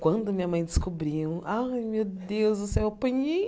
Quando a minha mãe descobriu, ai meu Deus do céu, eu apanhei.